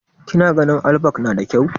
kina ganin allback nada kyau?